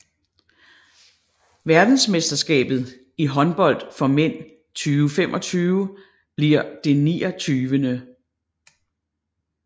Verdensmesterskabet i håndbold for mænd 2025 bliver det 29